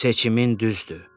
"Seçimin düzdür.